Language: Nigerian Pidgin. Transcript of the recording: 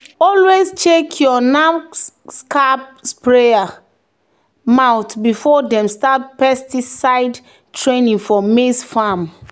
"always check your knapsack sprayer mouth before dem start pesticide training for maize farm."